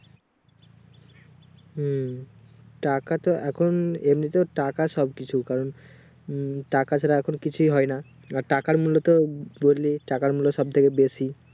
হুম টাকা তো এখন এমনিতেও টাকা সব কিছু কারণ উম টাকা ছাড়া এখন কিছুই হয় না টাকার মূলত টাকার মূল্য সব থেকে বেশি